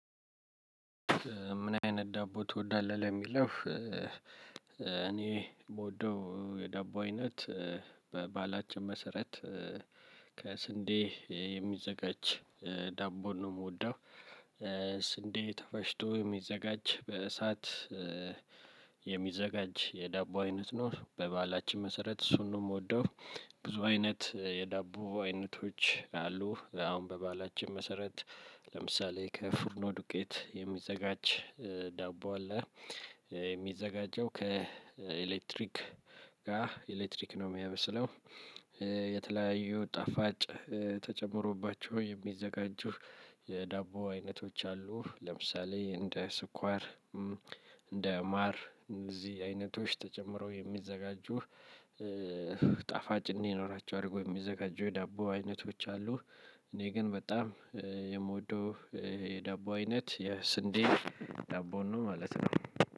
ምን አይነት ዳቦ ትወዳለህ የሚለው እኔ የምወደው የዳቦ አይነት በባህላችን መሰረት ከስንዴ የሚዘጋጅ ዳቦን ነው የምወደው። ስንዴ ተፈጥቶ የሚዘጋጅ በእሳት የሚዘጋጅ የዳቦ አይነት ነው በባህላችን መሰረት እሱን ነው የምወደው። ብዙ አይነት የዳቦ አይነቶች አሉ። አሁን በባህላችን መሰረት ለምሳሌ ከፍርኖ ዱቄት የሚዘጋጅ ዳቦ አለ። የሚዘጋጀው ከኤሌክትሪክ ጋር ኤሌክትሪክ ነው የሚያመስለው። የተለያዩ ጣፋጭ ተጨምሮባቸው የሚዘጋጁ የዳቦ አይነቶች አሉ። ለምሳሌ እንደ ስኳር፣ እንደ ማር፣ እንደዚህ አይነቶች ተጨምሮ የሚዘጋጁ ጣፋጭ እንዲኖራቸው አድርጎ የሚዘጋጁ የዳቦ አይነቶች አሉ። እኔ ግን በጣም የምወደው የዳቦ አይነት የስንዴ ዳቦን ነው ማለት ነው።